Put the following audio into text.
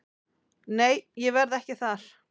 Nei ég verð ekki þar.